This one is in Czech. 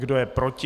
Kdo je proti?